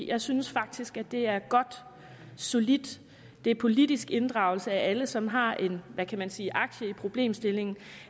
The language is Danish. jeg synes faktisk at det er godt og solidt det er politisk inddragelse af alle som har en hvad kan man sige aktie i problemstillingen